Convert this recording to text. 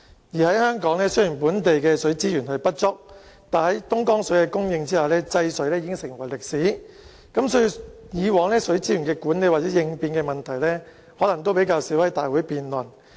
而在香港，雖然本地的水資源不足，但在東江水的供應下，制水已成為歷史，所以，以往水資源的管理或應變的問題可能較少在立法會會議上辯論。